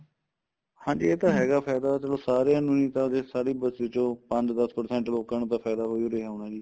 ਹਾਂਜੀ ਇਹ ਤਾਂ ਹੈਗਾ ਫਾਇਦਾ ਚਲੋ ਸਾਰੀਆਂ ਨੂੰ ਈ ਤਾਂ ਫੇਰ ਸਾਰੀ ਬਸੀ ਚੋ ਪੰਜ ਦੱਸ percent ਲੋਕਾ ਨੂੰ ਤਾਂ ਫਾਇਦਾ ਹੋ ਈ ਰਿਹਾ ਹੋਣਾ ਜੀ